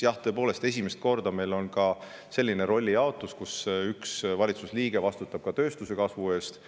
Jah, tõepoolest, esimest korda on meil selline rollijaotus, kus üks valitsuse liige vastutab tööstuse kasvu eest.